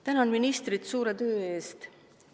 Tänan ministrit suure töö eest!